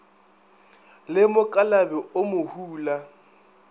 le mokalabi o mo hula